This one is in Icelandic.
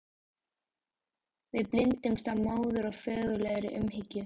Við blinduðumst af móður- og föðurlegri umhyggju.